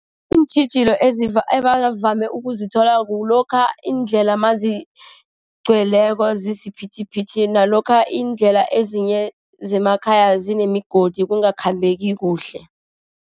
Iintjhijilo ebavame ukuzithola kulokha iindlela anazigcweleko, zisiphithiphithi nalokha indlela ezinye zemakhaya zinemigodi kungakhambeki kuhle.